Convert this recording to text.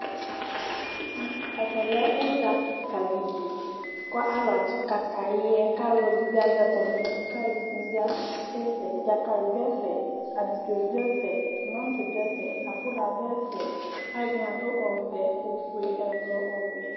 Ɛvɛlɛ udza kìka ɖili Dzakali ɖu ɛfɛ, bidzo ɖʋ ɛfɛ, abula ɖu ɛfɛ Alʋɛdìní aɖu ɔvɛ, ɔƒʋe, ɛblɔ, ɔwɛ